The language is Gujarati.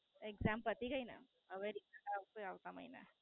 Exam પતિ ગઈ ને હવે પરીક્ષા આવશે આવતા મહિના